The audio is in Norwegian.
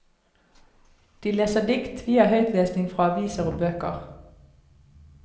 De leser dikt, vi har høytlesning fra aviser og bøker.